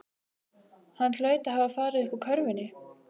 Hann hlaut að hafa farið uppúr körfunni.